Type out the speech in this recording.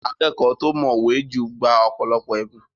Akẹ́kọ̀ọ́ tó mọ̀wẹ́ jù gba ọ̀pọ̀lọpọ̀ ẹ̀bùn.